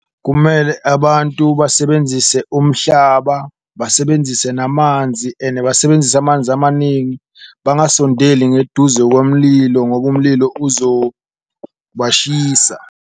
Kumele abantu basebenzise umhlaba, basebenzise namanzi ene basebenzise amanzi amaningi, bangasondeli ngeduze komlilo ngoba umlilo uzobashisa.